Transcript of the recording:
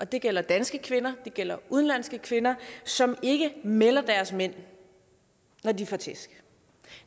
det gælder danske kvinder det gælder udenlandske kvinder som ikke melder deres mænd når de får tæsk